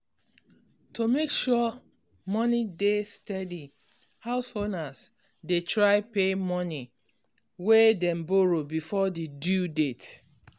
to make sure money dey steady house owners dey try pay money way dem borrow before di due date.